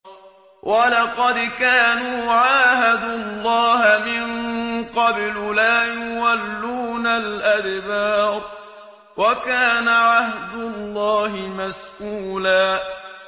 وَلَقَدْ كَانُوا عَاهَدُوا اللَّهَ مِن قَبْلُ لَا يُوَلُّونَ الْأَدْبَارَ ۚ وَكَانَ عَهْدُ اللَّهِ مَسْئُولًا